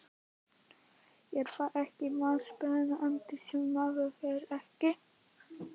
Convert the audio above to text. Er það ekki mest spennandi sem maður þekkir ekki?